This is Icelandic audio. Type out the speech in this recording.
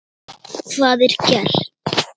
Hvað er gert?